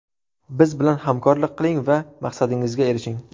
Biz bilan hamkorlik qiling va maqsadingizga erishing!